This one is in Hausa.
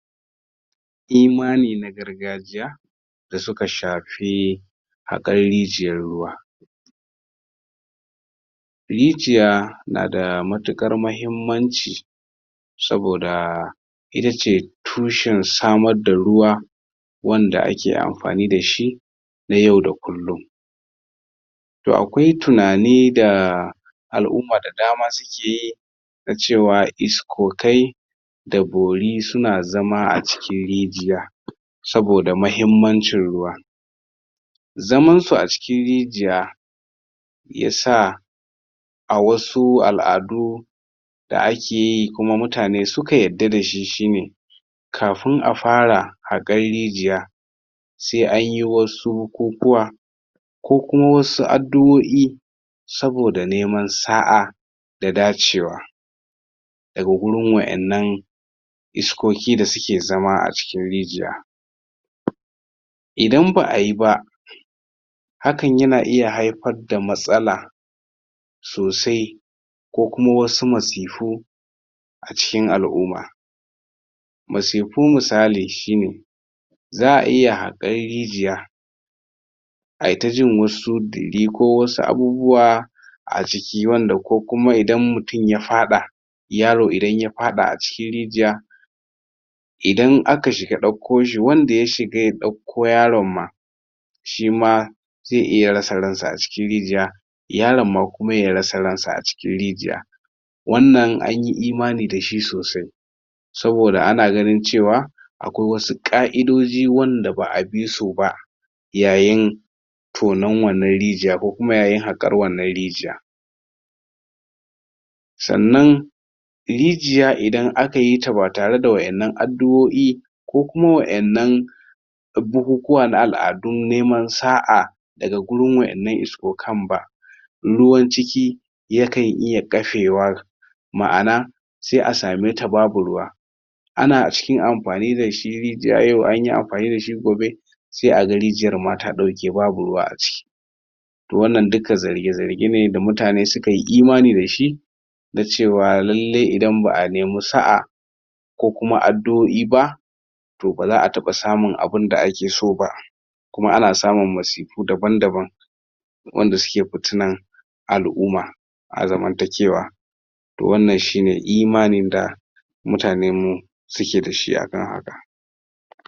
Imani na gargajiya da suka shafi haƙan rijiyar ruwa. Rijiya nada matuƙar mahimmanci saboda itace tushen samar da ruwa wanda ake amfani dashi na yau da kullun. To akwai tunani da al'umma da dama sukeyi na cewa iskokai da bori suna zama a cikin rijiya. Saboda mahimmancin ruwa. Zaman su a cikin rijiya yasa a wasu al'adu da akeyi kuma mutane suka yadda dashi shine kafin a fara haƙar rijiya sai anyi wasu bukukuwa ko kuma wasu adduo'i saboda neman sa'a da dacewa daga gurin wadannan iskoki da suke zama a cikin rijiya. Idan ba'ayiba hakan yana iya haifar da matsala sosai ko kuma wasu masifu a cikin al'umma. Masifu misali shine za'a iya hakar rijiya a yi taji wasu ko wasu abubuwa a ciki wanda ko kuma idan mutum ya faɗa yaro idan ya faɗa a cikin rijiya idan aka shiga ɗauko shi wanda ya shiga ya ɗauko yaron ma shima zai iya rasa ransa a cikin rijiya yaron ma kuma yarasa ransa a cikin rijiya. Wannan anyi imani dashi sosai saboda ana ganin cewa akwai wasu ƙa'idoji wanda ba'a bisu ba yayin tonan wannan rijiya ko kuma yayin haƙar wannan rijiya. Sannan rijiya idan akayita ba tare da waɗannan adduo'i ko kuma waɗannan bukukuwa na al'adun neman sa'a daga gurin waɗannan iskokan ba ruwan ciki yakan iya ƙafe wa ma'ana sai a sameta babu ruwa. Ana cikin amfani dashi rijiya yau anyi amfani dashi gobe sai a ga rijiyar ma ta ɗauke babu ruwa a ciki to wannan duka zarge-zarge ne da mutane sukayi imani dashi na cewa lallai idan ba'a nemi sa'a ko kuma adduo'i ba to baza'a taɓa samun abunda akeso ba. Kuma ana samun masifu daban-daban wanda suke fitinan al'umma a zamantakewa. Wannan shine imanin da mutanen suke dashi a da.